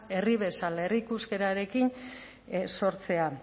herri bezala herriko euskararekin sortzea